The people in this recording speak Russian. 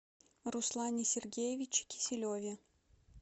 руслане сергеевиче киселеве